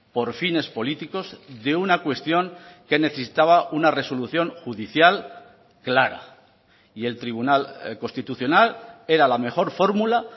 por fines políticos de una cuestión que necesitaba una resolución judicial clara y el tribunal constitucional era la mejor fórmula